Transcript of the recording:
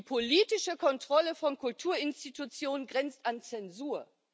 Die politische Kontrolle von Kulturinstitutionen grenzt an Zensur.